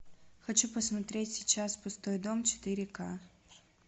хочу посмотреть сейчас пустой дом четыре к